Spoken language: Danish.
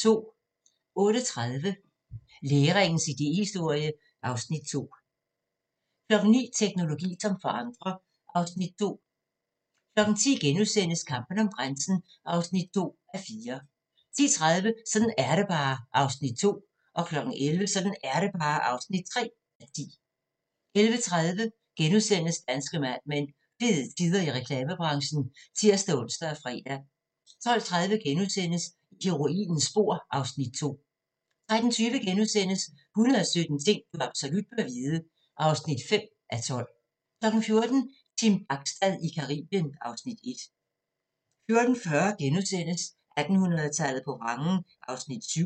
08:30: Læringens idéhistorie (Afs. 2) 09:00: Teknologi som forandrer (Afs. 2) 10:00: Kampen om grænsen (2:4)* 10:30: Sådan er det bare (2:10) 11:00: Sådan er det bare (3:10) 11:30: Danske Mad Men: Fede tider i reklamebranchen *(tir-ons og fre) 12:30: I heroinens spor (Afs. 2)* 13:20: 117 ting du absolut bør vide (5:12)* 14:00: Team Bachstad i Caribien (Afs. 1) 14:40: 1800-tallet på vrangen (7:8)*